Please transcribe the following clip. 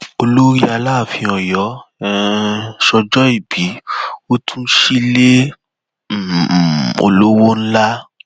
olórí aláàfin ọyọ um sọjọọbí ó tún sílẹ um olówó ńlá